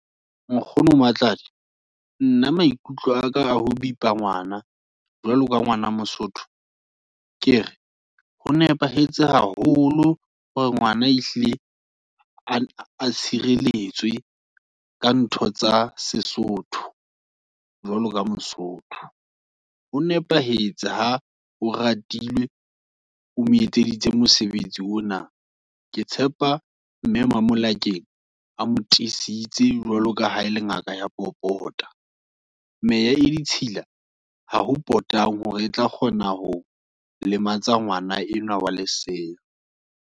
Nkgono Matladi, nna maikutlo aka, a ho bipa ngwana, jwalo ka ngwana mosotho, kere ho nepahetse haholo, hore ngwana e hlile, a n a tshireletswe, ka ntho tsa sesotho, jwalo ka mosotho, ho nepahetse, ha o ratilwe, o mo etseditse mosebetsi ona. Ke tshepa mme ma Molakeng a mo tiisitse, jwaloka ha e le ngaka ya popota, meya e ditshila, haho potang, hore e tla kgona, ho lematsa ngwana enwa wa lesea.